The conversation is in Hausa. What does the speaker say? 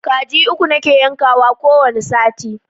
Kaji uku nake yankawa ko wani sati